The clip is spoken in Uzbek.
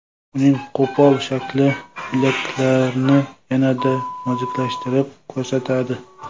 Uning qo‘pol shakli bilaklarni yanada noziklashtirib ko‘rsatadi.